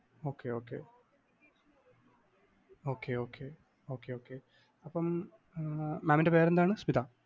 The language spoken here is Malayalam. OKay Okay Okay Okay Okay Okay അപ്പം അഹ് mam ൻ്റെ പേരെന്താണ്? സ്മിത